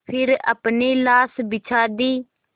फिर अपनी लाश बिछा दी